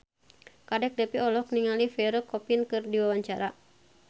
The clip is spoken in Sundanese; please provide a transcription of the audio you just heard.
Kadek Devi olohok ningali Pierre Coffin keur diwawancara